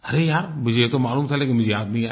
अरे यार मुझे ये तो मालूम था लेकिन मुझे याद नहीं आया